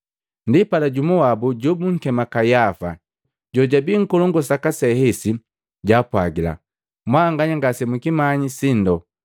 Ndipala, jumu wabu jobunkema Kayafa, jojabii Nngolu Nkolongu saka se hesi, jwaapwagila, “Mwanganya ngase mukimanyi sindo!